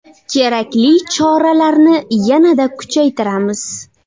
Kerakli choralarni yanada kuchaytiramiz.